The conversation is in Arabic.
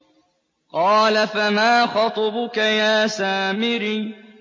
قَالَ فَمَا خَطْبُكَ يَا سَامِرِيُّ